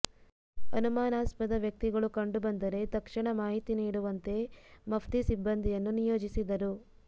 ಅನುಮಾನಾಸ್ಪದ ವ್ಯಕ್ತಿಗಳು ಕಂಡುಬಂದರೆ ತಕ್ಷಣ ಮಾಹಿತಿ ನೀಡುವಂತೆ ಮಫ್ತಿ ಸಿಬ್ಬಂದಿಯನ್ನು ನಿಯೋಜಿಸಿದ್ದರು